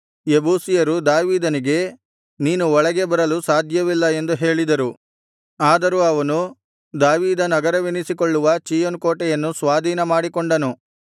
ಯೆಬೂಸಿಯರು ದಾವೀದನಿಗೆ ನೀನು ಒಳಗೆ ಬರಲು ಸಾಧ್ಯವಿಲ್ಲ ಎಂದು ಹೇಳಿದರು ಆದರೂ ಅವನು ದಾವೀದನಗರವೆನಿಸಿಕೊಳ್ಳುವ ಚೀಯೋನ್ ಕೋಟೆಯನ್ನು ಸ್ವಾಧೀನಮಾಡಿಕೊಂಡನು